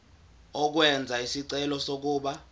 ukwenza isicelo sokuba